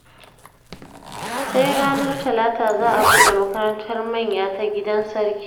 Sai ranar talata za a buɗe makarantar manya ta gidan sarki